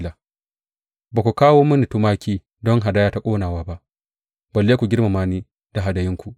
Ba ku kawo mini tumaki don hadaya ta ƙonewa ba, balle ku girmama ni da hadayunku.